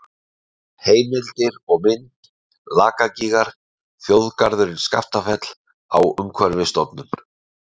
Heimildir og mynd: Lakagígar, Þjóðgarðurinn Skaftafell á Umhverfisstofnun.